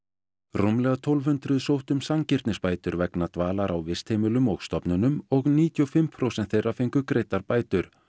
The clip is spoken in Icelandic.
rúmlega tólf hundruð sóttu um sanngirnisbætur vegna dvalar á vistheimilum og stofnunum og níutíu og fimm prósent þeirra fengu greiddar bætur